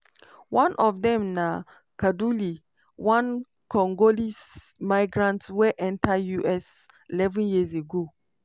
one of dem na kaduli one congolese migrant wey enta us eleven years ago.